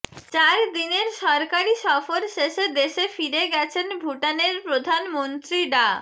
চার দিনের সরকারি সফর শেষে দেশে ফিরে গেছেন ভুটানের প্রধানমন্ত্রী ডা